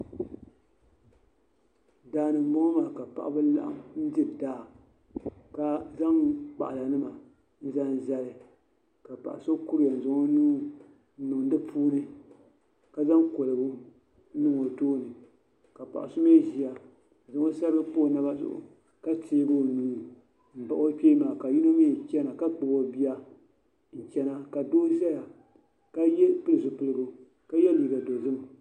Daani m bɔŋɔ la ka paɣib laɣim n-diri daa ka zaŋ kpaɣanima n-zaŋ zali ka paɣi so kuriya n-zaŋ onuu niŋ n dipuuni kazaŋkoligu n niŋ otooni ka paɣisɔ mi ziya n zaŋ osarigi m-pa o naba zuɣu ka teegi onuu n bahi o kpee maa ka yinɔmi chana ka Kpab o biiya n chana kabihi ʒɛya kapili zupiligu ka ye liiga dozim.